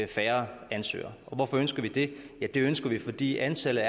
færre ansøgere og hvorfor ønsker vi det ja det ønsker vi fordi antallet